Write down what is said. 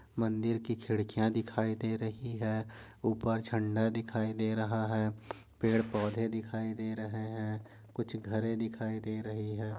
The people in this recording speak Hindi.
मंदिर कि खिडकीया दिखाई दे रही है उपर झंडा दिखाई दे रहा है पेड पौधे दिखाई दे रहे है कुछ घरे दिखाई दे रहे है।